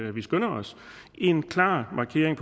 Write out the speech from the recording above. at vi skynder os i en klar markering